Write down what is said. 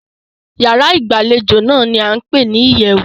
Ìyárá ìgbàlejò náà ní a ń pé ní ìyẹ̀wù.